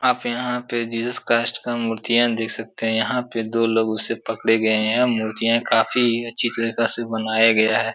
आप यहाँ पे जीसस क्राइस्ट का मूर्तियाँ देख सकते हैं। यहाँ पे दो लोग उसे पकड़े गये हैं। यह मूर्तियाँ काफी अच्छी तरीका से बनाया गया है।